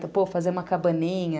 Então, pô, fazer uma cabaninha.